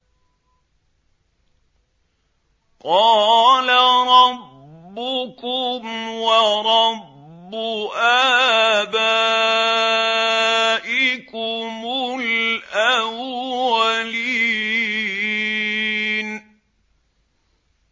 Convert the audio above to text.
قَالَ رَبُّكُمْ وَرَبُّ آبَائِكُمُ الْأَوَّلِينَ